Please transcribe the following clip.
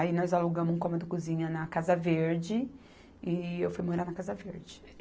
Aí nós alugamos um cômodo cozinha na Casa Verde e eu fui morar na Casa Verde.